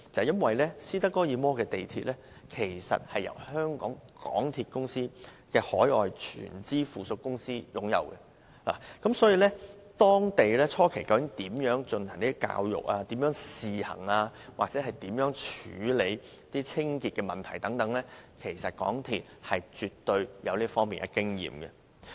因為斯德哥爾摩的地鐵由香港鐵路有限公司海外全資附屬公司擁有，當地初期如何進行公眾教育、如何試行或如何處理清潔等問題，其實港鐵公司絕對有這方面的經驗。